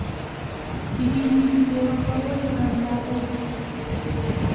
Ikimiti chego kowoikab lagok